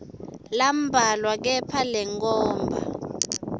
lambalwa kepha lenkhomba